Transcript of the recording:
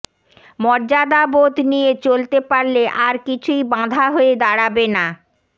মর্যাদাবোধ নিয়ে চলতে পারলে আর কিছুই বাঁধা হয়ে দাঁড়াবে না